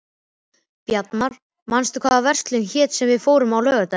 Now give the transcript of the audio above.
Bjarnar, manstu hvað verslunin hét sem við fórum í á laugardaginn?